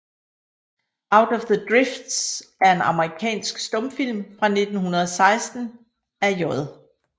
Out of the Drifts er en amerikansk stumfilm fra 1916 af J